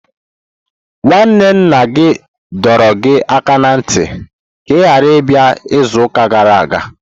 Nwanne nna gị dọrọ gị aka ná ntị ka ị ghara ịbịa izuụka gara aga!